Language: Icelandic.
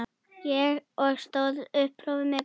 Og stóðst prófið með glans.